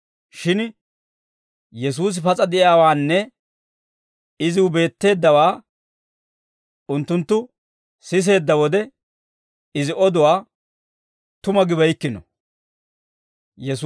shin Yesuusi pas'a de'iyaawaanne iziw beetteeddawaa unttunttu siseedda wode, Izi oduwaa tuma gibeykkino.